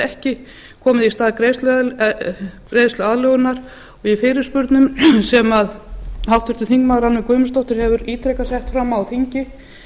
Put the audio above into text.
ekki komið í stað greiðsluaðlögunar í fyrirspurnum sem háttvirtur þingmaður rannveig guðmundsdóttir hefur ítrekað sett fram á þingi